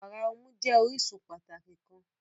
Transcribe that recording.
Wara ọmu jẹ orisun pataki kan.